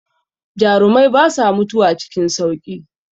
Jarumai basa mutuwa cikin sauƙi.